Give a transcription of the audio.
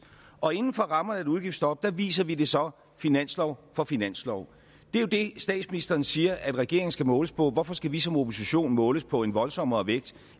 og inden for rammerne af et udgiftsstop viser vi det så finanslov for finanslov det er jo det statsministeren siger regeringen skal måles på hvorfor skal vi som opposition måles på en voldsommere vægt